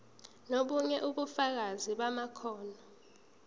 nobunye ubufakazi bamakhono